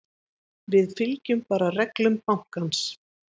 Við fylgjum bara reglum bankans.